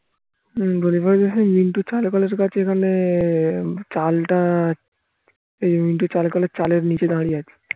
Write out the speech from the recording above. হুম মিন্টু কাছে এখানে চালটা এই মিন্টু চালের কলের চালের নিচে দাঁড়িয়ে আছে